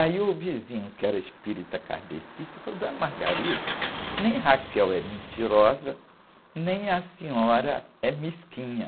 Aí o vizinho, que era espírita kardecista, falou, dona, nem é mentirosa, nem a senhora é mesquinha.